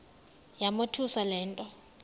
yamothusa le nto